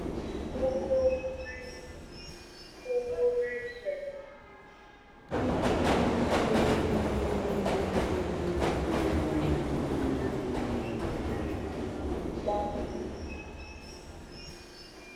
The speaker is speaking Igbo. Ogo nitrate Ogo nitrate dị elu um na-egbu egbu na mkpịsị aka, a ga-ejikwa mgbanwe mmiri chịkwaa ya.